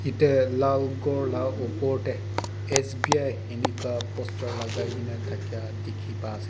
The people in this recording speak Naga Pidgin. dey lal ghor la upor tey S_B_I inika posture lagai gena thakia dikhi pai ase.